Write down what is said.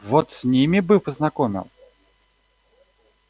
вот с ними бы познакомил